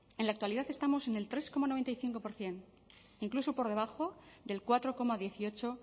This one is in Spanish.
en la actualidad estamos en el tres coma noventa y cinco por ciento incluso por debajo del cuatro coma dieciocho